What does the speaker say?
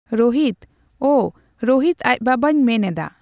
ᱨᱳᱦᱤᱛ ᱚ ᱨᱳᱦᱤᱛ ᱟᱡ ᱵᱟᱵᱟᱧ ᱢᱮᱱ ᱮᱫᱟ